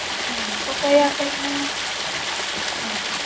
હમ તો કઈ આપડે કઈ હમ